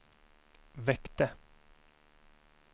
väckte